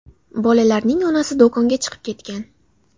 Bolalarning onasi do‘konga chiqib ketgan.